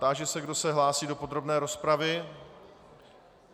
Táži se, kdo se hlásí do podrobné rozpravy.